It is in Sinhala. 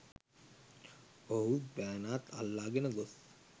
ඔහුත් බෑණාත් අල්ලාගෙන ගොස්